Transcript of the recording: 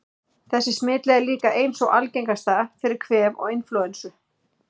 Þessi smitleið er líka ein sú algengasta fyrir kvef og inflúensu.